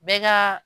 Bɛɛ ka